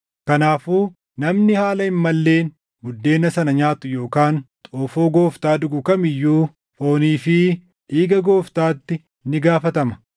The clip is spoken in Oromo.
Kanaafuu namni haala hin malleen buddeena sana nyaatu yookaan xoofoo Gooftaa dhugu kam iyyuu foonii fi dhiiga Gooftaatti ni gaafatama.